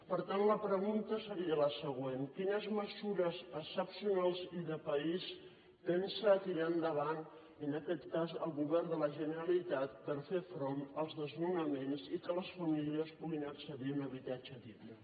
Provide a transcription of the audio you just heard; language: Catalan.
per tant la pregunta seria la següent quines mesures excepcionals i de país pensa tirar endavant en aquest cas el govern de la generalitat per fer front als desnonaments i perquè les famílies puguin accedir a un habitatge digne